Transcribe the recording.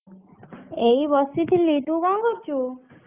ଏଇ ବସିଥିଲି। ତୁ କଣ କରୁଛୁ?